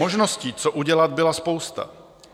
Možností, co udělat, byla spousta.